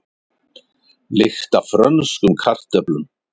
Lykt af frönskum kartöflum